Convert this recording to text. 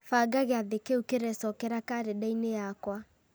banga gĩathĩ kĩu kĩrecokera karenda-inĩ yakwa